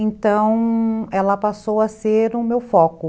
Então, ela passou a ser o meu foco.